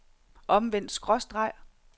omvendt skråstreg